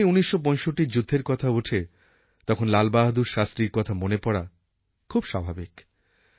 যখনই ১৯৬৫র যুদ্ধের কথা ওঠে তখন লালবাহাদুর শাস্ত্রীর কথা মনে পড়া খুব স্বাভাবিক